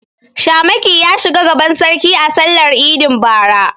Shamaki ya shiga gaban sarki a sallar idin bara.